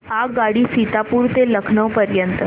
आगगाडी सीतापुर ते लखनौ पर्यंत